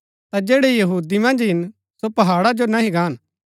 ता जैड़ै यहूदिया मन्ज हिन सो पहाड़ा जो नह्ही गान